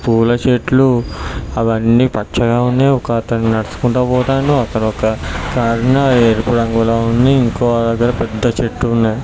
పూల చెట్లు అవ్వని పచ్చగా ఉన్నాయి. ఒకతను నడుసుకుంట పోతాండు అక్కడొక ఎరుపు రంగులో ఉంది. ఇంకో దగ్గర పెద్ద చెట్టు ఉంది .